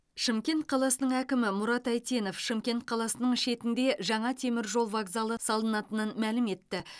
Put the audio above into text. шымкент қаласының әкімі мұрат әйтенов шымкент қаласының шетінде жаңа теміржол вокзалы салынатынын мәлім етті